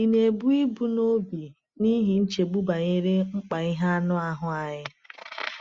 Ị̀ na-ebu ibu n’obi n’ihi nchegbu banyere mkpa ihe anụ ahụ anyị?